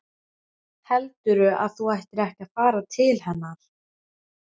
Heldurðu að þú ættir ekki að fara til hennar?